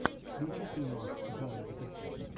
включи фильмас жанра детектив